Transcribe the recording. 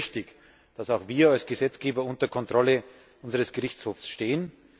Und das ist richtig, dass auch wir als Gesetzgeber unter Kontrolle unseres Gerichtshofs stehen.